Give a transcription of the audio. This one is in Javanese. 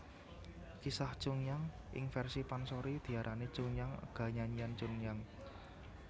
Kisah Chunhyang ing versi pansori diarani Chunhyang ga Nyanyian Chunhyang